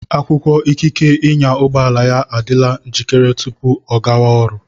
Akwụkwọ ikike ịnya ụgbọala ya adịla njikere tupu ọ gáwá ọrụ